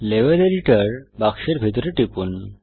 level editor বাক্সের ভিতরে টিপুন